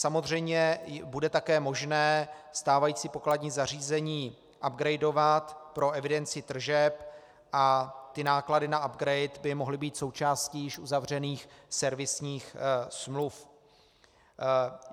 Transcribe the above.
Samozřejmě bude také možné stávající pokladní zařízení upgradovat pro evidenci tržeb a ty náklady na upgrade by mohly být součástí již uzavřených servisních smluv.